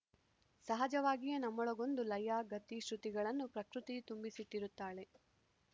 ಸಹಜವಾಗಿಯೇ ನಮ್ಮೊಳಗೊಂದು ಲಯ ಗತಿ ಶ್ರುತಿಗಳನ್ನು ಪ್ರಕೃತಿಯು ತುಂಬಿಸಿಟ್ಟಿರುತ್ತಾಳೆ